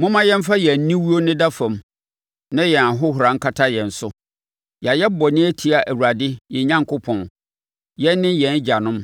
Momma yɛmfa yɛn aniwuo nneda fam na yɛn ahohora nkata yɛn so. Yɛayɛ bɔne atia Awurade yɛn Onyankopɔn, yɛn ne yɛn agyanom;